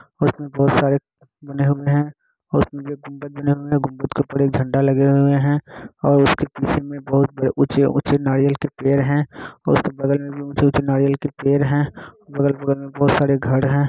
इसमे बहुत सारे बने हुए ही उसमे गुंबज बने हुए है गुंबज के ऊपर एक झंडा लगे हुए है और उसके मे बहोत ऊंचे ऊंचे नारियल के पेड़ है और उसके बगल मे भी ऊंचे ऊंचे नारियल के पेड़ है बगल बगल मे बहोत सारे घर है।